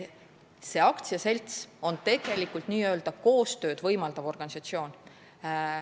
See aktsiaselts on tegelikult n-ö koostööd võimaldav organisatsioon.